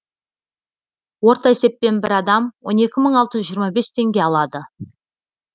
орта есеппен бір адам оны он екі мың алты жүз жиырма бес теңге алады